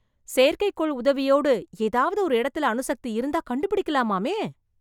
செயற்கைக்கோள் உதவியோடு, ஏதாவது ஒரு இடத்துல அணுசக்தி இருந்தா கண்டுபிடிக்கலாமாமே ?